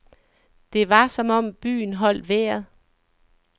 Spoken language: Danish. Det var som om byen holdt vejret.